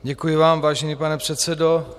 Děkuji vám, vážený pane předsedo.